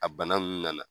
A bana nunnu nana